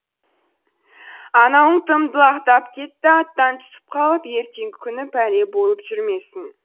анауың тым далақтап кетті аттан түсіп қалып ертеңгі күні пәле болып жүрмесін